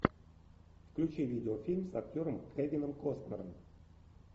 включи видеофильм с актером кевином костнером